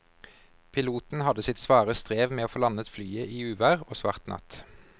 Piloten hadde sitt svare strev med å få landet flyet i uvær og svart natt.